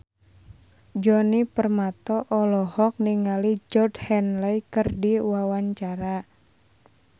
Djoni Permato olohok ningali Georgie Henley keur diwawancara